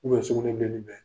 sugunɛbilennin bɛ